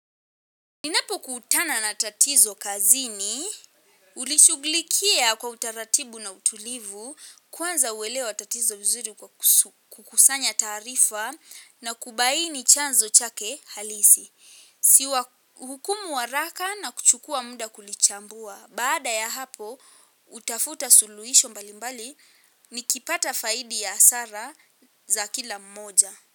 Ninapo kutana na tatizo kazini, hulichuglikia kwa utaratibu na utulivu, kwanza huelewa tatizo vizuri kwa kukusanya taarifa na kubaini chanzo chake halisi. Siwa hukumu wa haraka na kuchukua muda kulichambua. Baada ya hapo, hutafuta suluhisho mbali mbali, nikipata faidi ya hasara za kila mmoja.